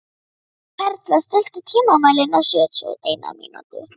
Perla, stilltu tímamælinn á sjötíu og eina mínútur.